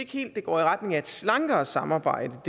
helt går i retning af et slankere samarbejde